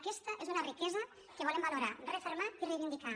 aquesta és una riquesa que volem valorar refermar i reivindicar